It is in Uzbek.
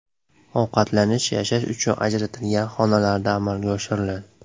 Ovqatlanish yashash uchun ajratilgan xonalarda amalga oshiriladi .